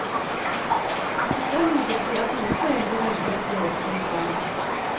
Han forstår imidlertid at noen foreldre velger å operere sine barn.